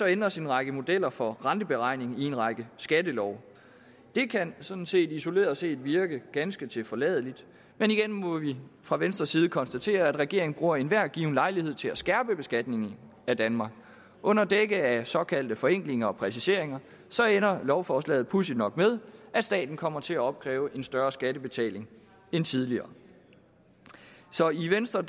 ændres en række modeller for renteberegning i en række skattelove det kan sådan set isoleret set virke ganske tilforladeligt men igen må vi fra venstres side konstatere at regeringen bruger enhver given lejlighed til at skærpe beskatningen af danmark under dække af såkaldte forenklinger og præciseringer ender lovforslaget pudsigt nok med at staten kommer til at opkræve en større skattebetaling end tidligere så i venstre